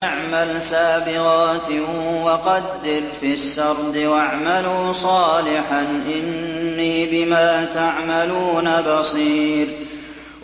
أَنِ اعْمَلْ سَابِغَاتٍ وَقَدِّرْ فِي السَّرْدِ ۖ وَاعْمَلُوا صَالِحًا ۖ إِنِّي بِمَا تَعْمَلُونَ بَصِيرٌ